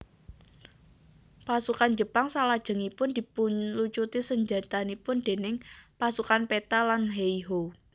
Pasukan Jepang salajengipun dipunlucuti senjatanipun déning Pasukan Peta lan Heiho